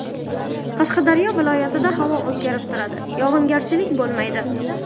Qashqadaryo viloyatida havo o‘zgarib turadi, yog‘ingarchilik bo‘lmaydi.